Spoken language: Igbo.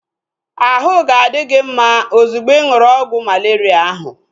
Ahụ ga-adi gị mma ozugbo ị ṅụrụ ọgwụ malaria ahu